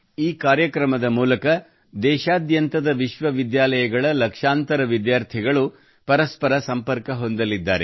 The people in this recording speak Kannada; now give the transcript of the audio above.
ಈ ಕಾರ್ಯಕ್ರಮದ ಮೂಲಕ ದೇಶಾದ್ಯಂತದ ಲಕ್ಷಾಂತರ ವಿಶ್ವವಿದ್ಯಾಲಯಗಳ ವಿದ್ಯಾರ್ಥಿಗಳು ಪರಸ್ಪರ ಸಂಪರ್ಕ ಹೊಂದಲಿದ್ದಾರೆ